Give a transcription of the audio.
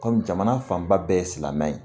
Kɔmi jamana fanba bɛɛ ye silamɛ ye